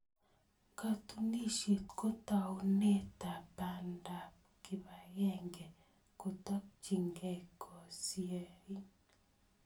Katunisyet ko taunetab bandab kibagenge ketokchinigei kosyin.